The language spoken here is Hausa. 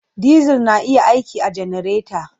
Diesel na iya aiki a cikin janareta.